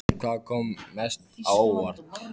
En hvað kom mest á óvart?